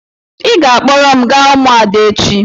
Ị ga-akpọrọ m gaa ụmụada echi.